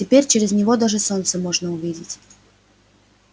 теперь через него даже солнце можно увидеть